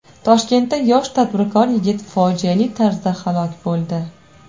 Toshkentda yosh tadbirkor yigit fojiali tarzda halok bo‘ldi.